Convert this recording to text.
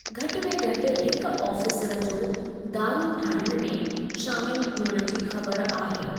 घटि में घटि हिकु आफ़ीसरु जो दारूं ठाहिण में शामिलु हुअण जी ख़बर आहे।